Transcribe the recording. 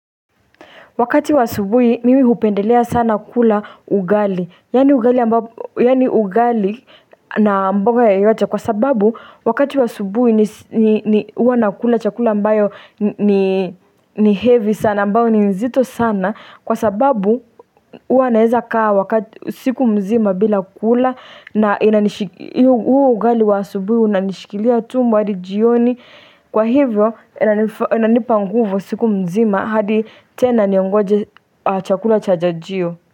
Wakati wa asubuhi mimi hupendelea sana kula ugali, yaani ugali Yani ugali na mboga yoyote kwa sababu wakati wa asubuhi huwa nakula chakula ambayo ni heavy sana ambayo ni nzito sana. Kwa sababu huwa naeza kaa wakati siku mzima bila kula na huo ugali wa asubuhi unanishikilia tumbo hadi jioni. Kwa hivyo inanipa nguvu siku mzima hadi tena niongoje chakula cha jajio.